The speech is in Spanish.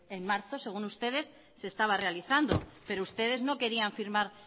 en marzo según ustedes se estaba realizando pero ustedes no querían firmar